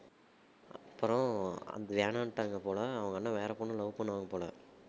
அப்புறம் அது வேணானுட்டாங்க போல அவங்க அண்ணன் வேற பொண்ணை love பண்ணுவான் போல